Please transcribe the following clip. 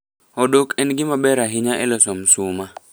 Odok en gima ber ahinya e loso msuma.